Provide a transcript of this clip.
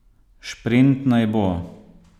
Šprint naj bo!